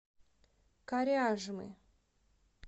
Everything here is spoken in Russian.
коряжмы